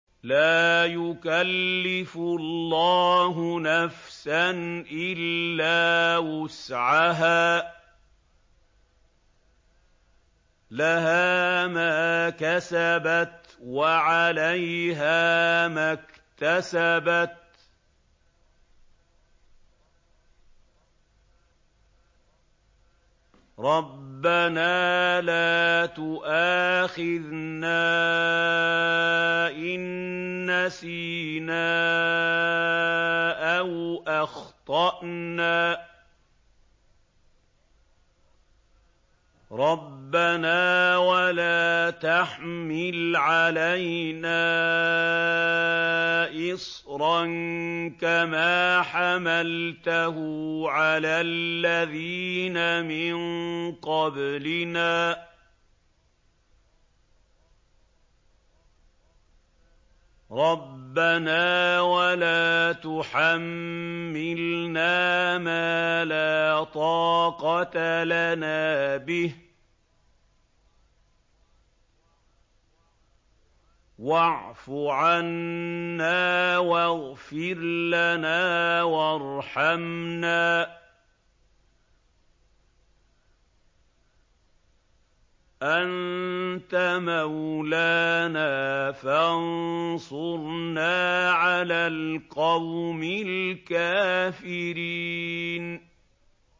لَا يُكَلِّفُ اللَّهُ نَفْسًا إِلَّا وُسْعَهَا ۚ لَهَا مَا كَسَبَتْ وَعَلَيْهَا مَا اكْتَسَبَتْ ۗ رَبَّنَا لَا تُؤَاخِذْنَا إِن نَّسِينَا أَوْ أَخْطَأْنَا ۚ رَبَّنَا وَلَا تَحْمِلْ عَلَيْنَا إِصْرًا كَمَا حَمَلْتَهُ عَلَى الَّذِينَ مِن قَبْلِنَا ۚ رَبَّنَا وَلَا تُحَمِّلْنَا مَا لَا طَاقَةَ لَنَا بِهِ ۖ وَاعْفُ عَنَّا وَاغْفِرْ لَنَا وَارْحَمْنَا ۚ أَنتَ مَوْلَانَا فَانصُرْنَا عَلَى الْقَوْمِ الْكَافِرِينَ